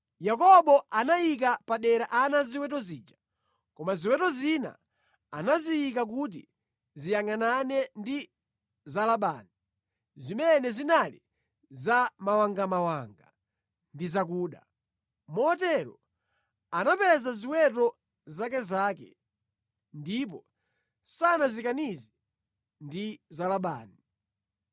Yakobo anayika padera ana a ziweto zija. Koma ziweto zina anaziyika kuti ziyangʼanane ndi za Labani, zimene zinali za mawangamawanga ndi zakuda. Motero anapeza ziweto zakezake, ndipo sanazisakanize ndi za Labani.